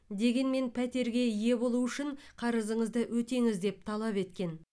дегенмен пәтерге ие болу үшін қарызыңызды өтеңіз деп талап еткен